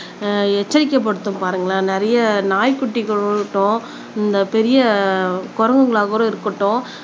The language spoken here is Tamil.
உம் எச்சரிக்கை படுத்தும் பாருங்களேன் நிறைய நாய்க்குட்டிகள் ஆகட்டும் இந்த பெரிய குரங்குகளாகூட இருக்கட்டும்